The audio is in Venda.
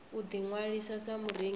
u ḓi ṅwalisa sa murengisi